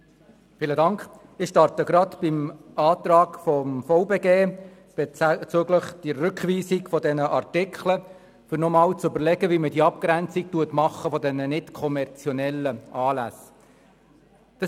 der SiK. Ich beginne mit dem Antrag des VBG betreffend die Rückweisung der Artikel 50–52, um noch mal zu überlegen, wie wir kommerzielle von nicht-kommerziellen Anlässen abgrenzen.